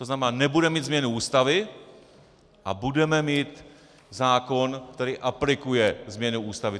To znamená, nebudeme mít změnu Ústavy a budeme mít zákon, který aplikuje změny Ústavy.